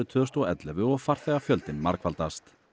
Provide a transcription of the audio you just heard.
tvö þúsund og ellefu og farþegafjöldinn margfaldast